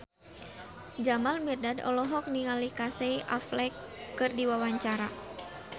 Jamal Mirdad olohok ningali Casey Affleck keur diwawancara